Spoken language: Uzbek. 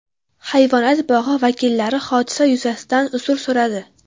Hayvonot bog‘i vakillari hodisa yuzasidan uzr so‘radi.